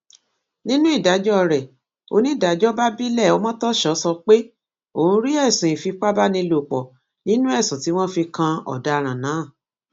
nínú ìdájọ rẹ onídàájọ babilẹ ọmọtọṣọ sọ pé òun rí ẹsùn ìfipábánilòpọ nínú ẹsùn tí wọn fi kan ọdaràn náà